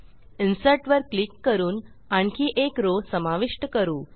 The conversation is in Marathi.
इन्सर्ट वर क्लिक करून आणखी एक रॉव समाविष्ट करू